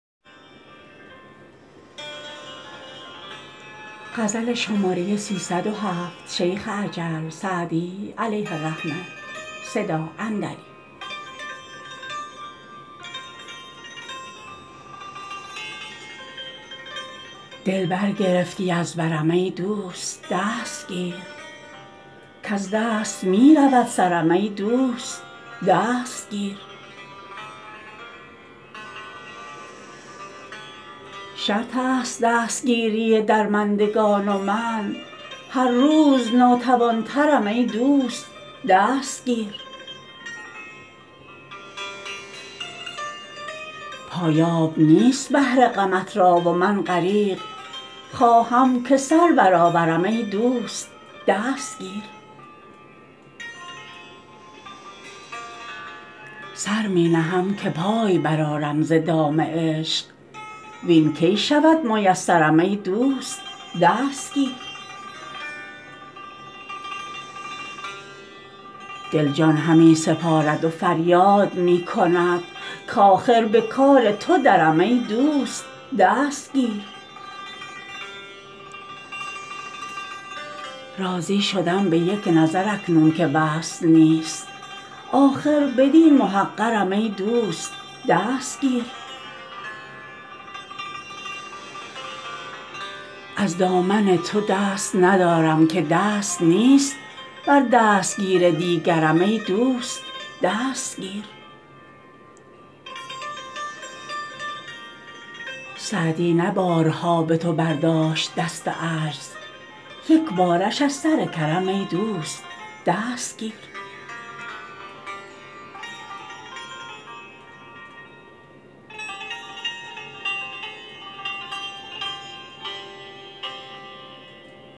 دل برگرفتی از برم ای دوست دست گیر کز دست می رود سرم ای دوست دست گیر شرط است دستگیری درمندگان و من هر روز ناتوان ترم ای دوست دست گیر پایاب نیست بحر غمت را و من غریق خواهم که سر برآورم ای دوست دست گیر سر می نهم که پای برآرم ز دام عشق وین کی شود میسرم ای دوست دست گیر دل جان همی سپارد و فریاد می کند کآخر به کار تو درم ای دوست دست گیر راضی شدم به یک نظر اکنون که وصل نیست آخر بدین محقرم ای دوست دست گیر از دامن تو دست ندارم که دست نیست بر دستگیر دیگرم ای دوست دست گیر سعدی نه بارها به تو برداشت دست عجز یک بارش از سر کرم ای دوست دست گیر